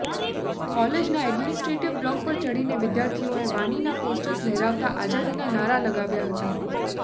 કોલેજના administrative block પર ચઢીને વિદ્યાર્થીઓએ વાનીના પોસ્ટર્સ લહેરાવતા આઝાદીના નારા લગાવ્યા હતા